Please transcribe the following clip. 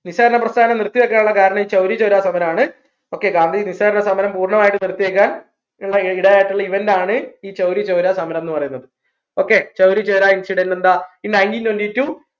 നിസ്സാരണ പ്രസ്ഥാനം നിർത്തിവയ്ക്കാനുള്ള കാരണം ഈ ചൗരി ചൗരാ സമരണ് okay ഗാന്ധിജി നിസ്സാരണ സമരം പൂർണ്ണമായിട്ടും നിർത്തിവയ്ക്കാൻ ഉള്ള event ആണ് ഈ ചൗരി ചൗരാ സമരംന്ന് പറയുന്നത് okay ചൗരി ചൗര incident എന്താ in nineteen twentytwo